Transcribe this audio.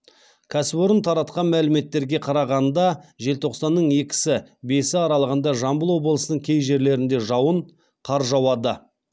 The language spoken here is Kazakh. кәсіпорын таратқан мәліметтерге қарағанда желтоқсанның екісі бесі аралығында жамбыл облысының кей жерлерінде жауын қар жауады